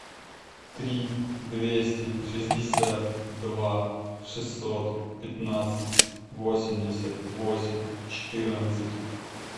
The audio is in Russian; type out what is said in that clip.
три двести шестьдесят два шестьсот пятнадцать восемьдесят восемь четырнадцать